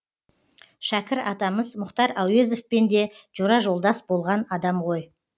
шәкір атамыз мұхтар әуезовпен де жора жолдас болған адам ғой